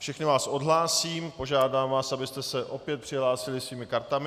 Všechny vás odhlásím, požádám vás, abyste se opět přihlásili svými kartami.